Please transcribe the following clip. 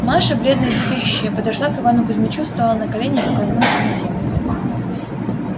маша бледная и трепещущая подошла к ивану кузмичу стала на колени и поклонилась ему в землю